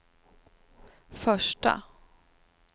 första